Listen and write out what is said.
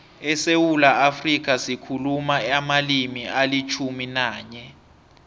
esewula afrika sikhuluma amalimi alitjhumi nanye